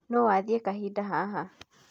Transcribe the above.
Nũ wathie kahinda haha?